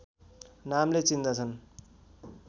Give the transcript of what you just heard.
नामले चिन्दछन्